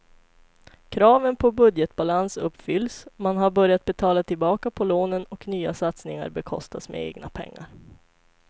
Kraven på budgetbalans uppfylls, man har börjat betala tillbaka på lånen och nya satsningar bekostas med egna pengar.